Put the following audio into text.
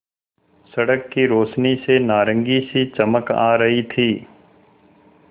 सड़क की रोशनी से नारंगी सी चमक आ रही थी